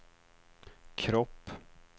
kropp